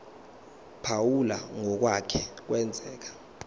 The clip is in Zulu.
phawula ngokwake kwenzeka